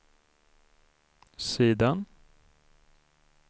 sidan